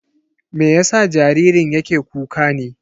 Me yasa jaririn yake kuka ne?